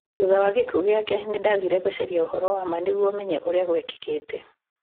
Thutha wa gĩkuũ gĩake, nĩ ndaathire gũcaria ũhoro wa ma nĩguo menye ũrĩa gwekĩkĩte.